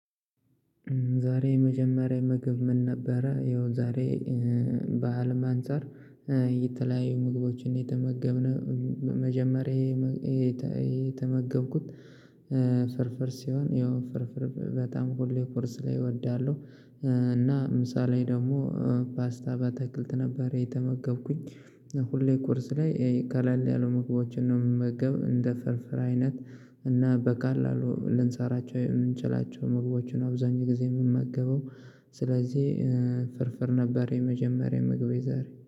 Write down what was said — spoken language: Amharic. ዛሬ የመጀመሪያ ምግብ ምን ነበረ? ይኸው ዛሬ በዓል አንፃር የተለያዩ ምግቦችን የተመገብን። መጀመሪያ ይሄ የተመገብኩት። ፍርፍር ሲሆን ይኸው ፍርፍር በጣም ሁሌ ቁርስ ላይ እወዳለሁ። እና ምሳ ላይ ደግሞ ፓስታ በአትክልት ነበር የተመገብኩኝ። ሁሌ ቁርስ ላይ ቀለል ያሉ ምግቦችን ነው የምመገብ እንደ ፍርፍር አይነት። እና በቀላሉ ልንሰራቸው የምንችላቸው ምግቦችን ነው አብዛኛው ጊዜ የምመገበው። ስለዚህ ፍርፍር ነበር የመጀመሪያ ምግቤ ዛሬ።